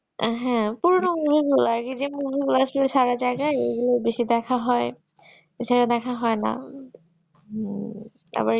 হ্যাঁ পুরোনো movie গুলা আগে যেই movie গুলো ছিল সারা জায়গায় এগুলো বেশি দেখা হয় তাছাড়া দেখা হয়না হম তারপরে